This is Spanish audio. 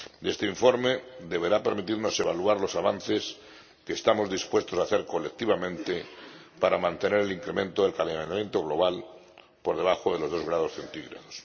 Este informe deberá permitirnos evaluar los avances que estamos dispuestos a hacer colectivamente para mantener el incremento del calentamiento global por debajo de los dos grados centígrados.